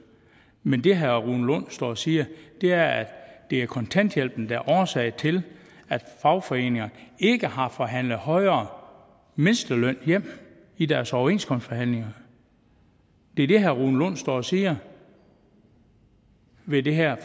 men det herre rune lund står og siger er at det er kontanthjælpen der er årsag til at fagforeningerne ikke har forhandlet en højere mindsteløn hjem i deres overenskomstforhandlinger det er det herre rune lund står og siger med det her